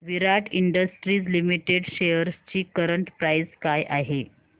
विराट industries limited shares ची current price काय आहे